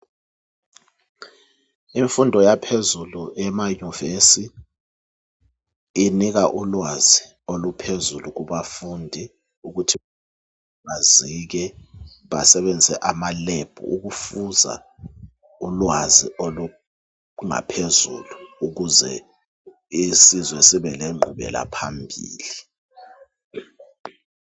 Imfundo yaphezulu yemayunivesi inika ulwazi oluphezulu kubafundi ukuthi bazike basebenzise amalebhu ukufuza ulwazi olungaphezulu ukuze isizwe sibe lengqubela phambili.